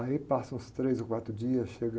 Aí passam os três ou quatro dias, chega...